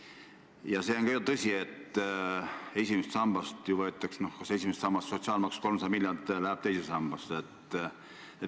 Ja see on ka ju tõsi, et esimesest sambast võetakse raha ära, aga 300 miljonit läheb teise sambasse.